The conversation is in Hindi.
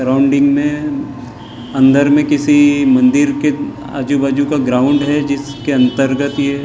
राउअंडिंग मे अनदर में किसी मंदीर के आजुबाजु का ग्राउंड है जिसके अंतरगत ए ।